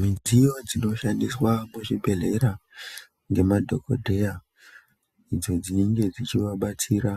Midziyo dzinoshandiswa muzvibhedhlera ngemadhokodheya ,idzo dzinenge dzichivabatsira